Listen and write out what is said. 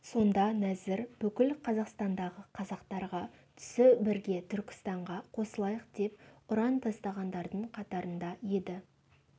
сонда нәзір бүкіл қазақстандағы қазақтарға түсі бірге түркістанға қосылайық деп ұран тастағандардың қатарында еді